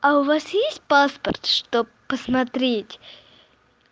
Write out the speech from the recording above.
а у вас есть паспорт чтоб посмотреть